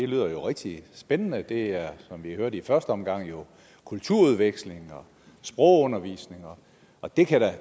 lyder jo rigtig spændende det er jo som vi hører det i første omgang kulturudveksling og sprogundervisning og det kan